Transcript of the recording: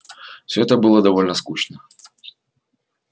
всё это было довольно скучно